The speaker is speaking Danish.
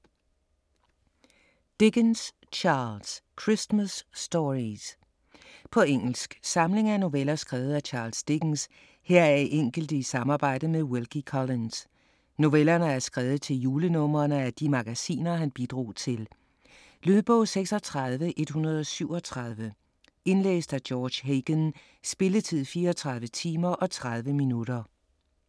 Dickens, Charles: Christmas stories På engelsk. Samling af noveller skrevet af Charles Dickens, heraf enkelte i samarbejde med Wilkie Collins. Novellerne er skrevet til julenumrene af de magasiner han bidrog til. Lydbog 36137 Indlæst af George Hagan. Spilletid: 34 timer, 30 minutter.